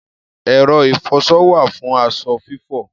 Ẹ̀rọ ìfọṣọ wà fún aṣọ fífọ̀.